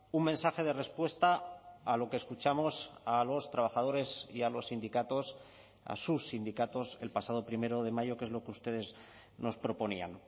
un mensaje de respuesta a lo que escuchamos a los trabajadores y a los sindicatos a sus sindicatos el pasado primero de mayo que es lo que ustedes nos proponían